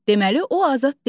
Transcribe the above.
Deməli, o azad deyil.